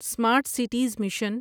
smart cities mission